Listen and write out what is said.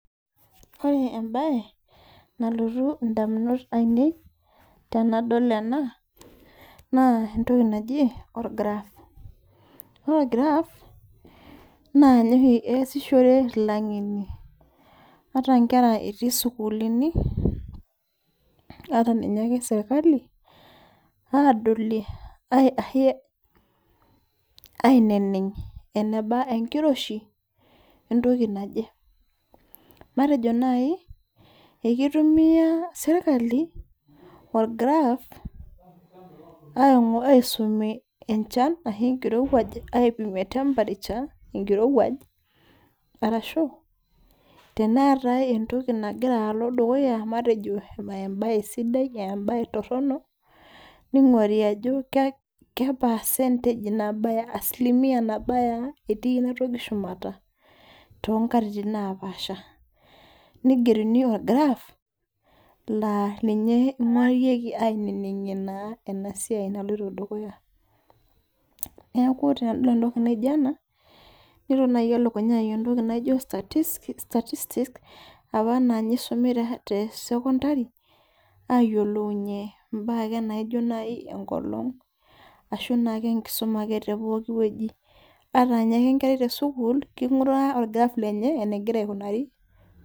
Ore ebae, nalotu indamunot ainei, tenadol ena, naa entoki naji or graph. Ore or graph, naa ninye oshi easishore ilang'eni, ata nkera etii sukuulini, ata ninye ake serkali, adolie aineneng' eneba enkiroshi, entoki naje. Matejo nai, ekitumia serkali, or graph, aisumie enchan ashu enkirowuaj, aipimie temperature, enkirowuaj, arashu teneetai entoki nagira alo dukuya matejo ebae sidai, ebae torronok, ning'ori ajo ke percentage asilimia nabaya ah etii inatoki shumata, tonkatitin napaasha. Nigeruni or graph, laa ninye ing'orieki ainining'ie naa enasiai naloito dukuya. Neeku tenadol entoki naija ena, nelo nai elukunya ai entoki naijo statistics, apa ninye isumu te secondary, ayiolounye imbaa ake naijo nai enkolong, ashu naake enkisuma ake tepooki wueji. Ata ninye ake enkerai tesukuul, king'uraa or graph lenye, enegira aikunari.